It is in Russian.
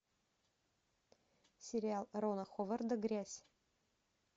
сериал рона ховарда грязь